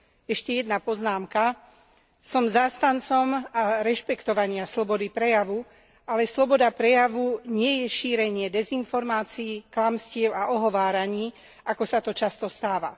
Ešte jedná poznámka som zástancom rešpektovania slobody prejavu, ale sloboda prejavu nie je šírenie dezinformácií, klamstiev a ohováraní, ako sa to často stáva.